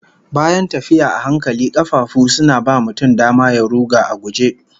Bayan tafiya a hankali, kafafu suna ba mutum dama ya ruga a guje